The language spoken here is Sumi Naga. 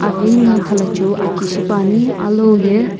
aghi na khalhachiu aki shipuani alou ye--